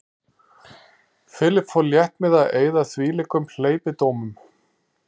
Philip fór létt með að eyða þvílíkum hleypidómum.